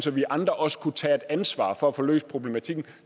vi andre også kunne tage et ansvar for at få løst problematikken